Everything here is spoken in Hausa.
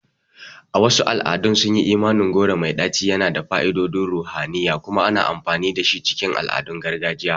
A wasu al'adun, sunyi imanin goro mai ɗaci yana da fa'idodin ruhaniya kuma ana amfani dashi cikin al'adun gargajiya.